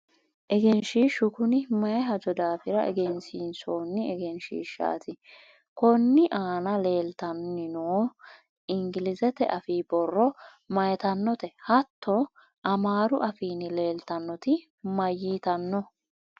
egenshiishshu kuni mayi hajo daafira egensiinsoonni egenshiishshaati? konni aana leeltanni nooti ingilizete afii borro mayiitanote? hatto amaaru afiinni leeltannoti mayiitano?